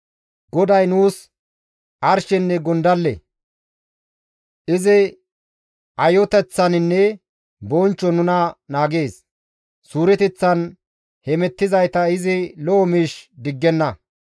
GODAY nuus arshenne gondalle; izi ayoteththaninne bonchchon nuna naagees; Suureteththan hemettizayta izi lo7o miish diggenna.